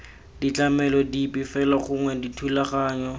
ditlamelo dipe fela gongwe dithulaganyo